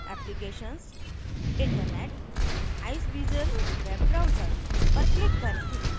applications internet iceweasel web browser पर click करें